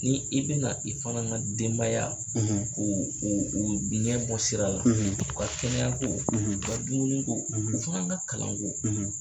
Ni i bɛna i fana ka denbaya ko oo ɲɛ bɔ diinɛ bɔ sira la u ka kɛnɛyaɲɛyako u ka dumuniko u fana ka kalanko